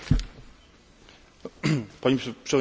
Pani Przewodnicząca! Panie Komisarzu!